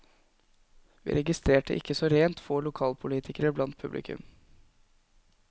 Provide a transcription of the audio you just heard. Vi registrerte ikke så rent få lokalpolitikere blant publikum.